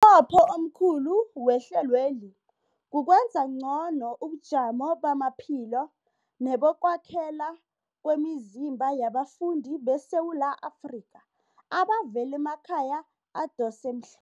nqopho omkhulu wehlelweli kukwenza ngcono ubujamo bamaphilo nebokwakhela kwemizimba yabafundi beSewula Afrika abavela emakhaya adosa emhl